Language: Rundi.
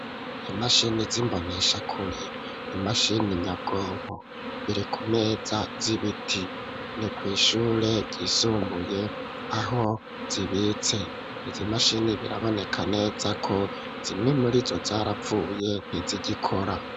Imashini, z'imboneshakure; imashini nyabwonko, biri kumeza z'ibiti, ni kw'ishure ryisumbuye, aho zibitse; izi mashini, biraboneka neza ko, zimwe muri zo, zarapfuye, ntizigikora.